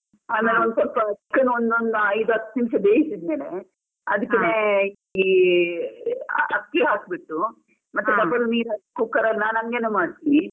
ಆಮೇಲೆ ಒಂದು ಸ್ವಲ್ಪ ಒಂದು ಒಂದ್ ಐದು ಹತ್ತ್ ನಿಮಿಷ ಬೇಯಿಸಿದ್ ಮೇಲೆ, ಅದಿಕ್ಕೇನೆ ಈ ಅ~ ಅಕ್ಕಿ ಹಾಕ್ಬಿಟ್ಟು ಮತ್ತೆ double ನೀರು ಹಾಕಿ cooker ಅಲ್ ನಾನ್ ಹಂಗೆನೆ ಮಾಡ್ತಿನಿ.